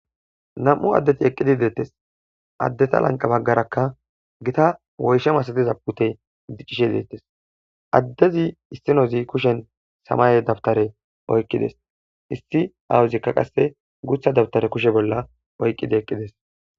Nam7u adeti eqidi deetees. Adetta lanqe baggaraka gita woysha masatiza miishay beetees. Adezi issinozi kushen semay dawuttare oykidees.isti azika qase gutha dawutare oykidi eqidees.